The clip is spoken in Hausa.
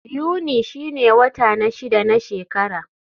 Yuni shine wata na shida na shekara.